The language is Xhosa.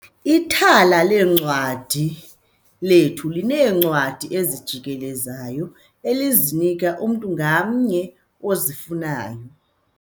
Ithala leencwadi lethu lineencwadi ezijikelezayo elizinika umntu ngamnye ozifunayo.